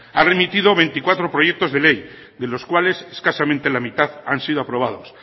ha remitido veinticuatro proyectos de ley de los cuales escasamente la mitad han sido aprobados